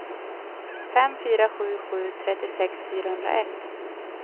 fem fyra sju sju trettiosex fyrahundraett